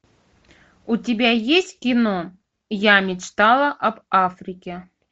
у тебя есть кино я мечтала об африке